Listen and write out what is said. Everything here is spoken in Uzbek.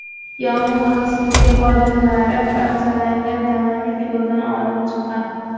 Yong‘in xavfsizligi xodimlari parchalangan tanani ko‘ldan olib chiqqan.